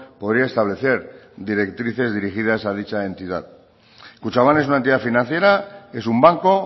podría establecer directrices dirigidas a dicha entidad kutxabank es una entidad financiera es un banco